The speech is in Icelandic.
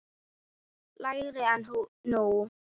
lægri en nú.